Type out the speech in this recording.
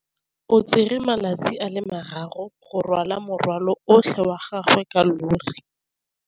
O tsere malatsi a le marraro go rwala morwalo otlhe wa gagwe ka llori.